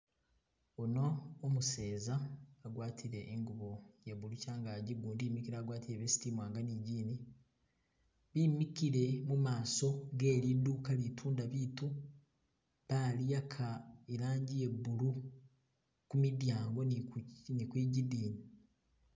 Uno umuseza agwatile ingubo ya blue changagi gundi imikile agwatile vest imwanga ni gini bimikile mumaso geliduka litunda bitu balihaka ilangi ye blue kumudyango ni kwigidini.